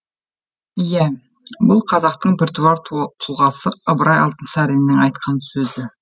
иә бұл қазақтың біртуар тұлғасы ыбырай алтынсариннің айтқан сөзі